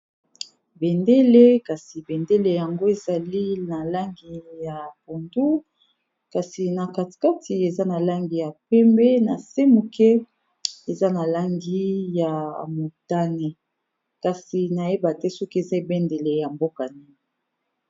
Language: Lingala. Bendele kasi bendele yango ezali na langi ya pondu kasi na kati kati eza na langi ya pembe na se moke eza na langi ya motane kasi nayebate soki eza ebendele ya mboka nini.